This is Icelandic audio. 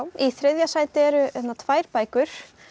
í þriðja sæti eru tvær bækur